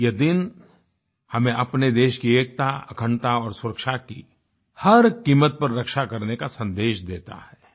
यह दिन हमें अपने देश की एकता अखंडता और सुरक्षा की हर कीमत पर रक्षा करने का सन्देश देता है